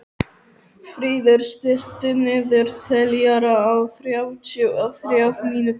Fríður, stilltu niðurteljara á þrjátíu og þrjár mínútur.